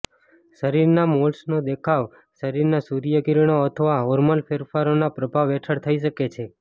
શરીરના મોલ્સનો દેખાવ શરીરના સૂર્ય કિરણો અથવા હોર્મોનલ ફેરફારોના પ્રભાવ હેઠળ થઇ શકે છે